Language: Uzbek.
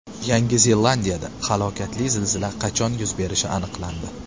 Yangi Zelandiyada halokatli zilzila qachon yuz berishi aniqlandi.